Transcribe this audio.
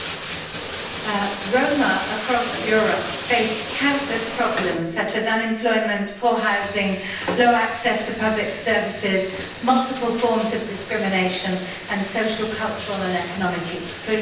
Mr President, Roma across Europe face countless problems, such as unemployment, poor housing, poor access to public services, multiple forms of discrimination and social, cultural and economic exclusion.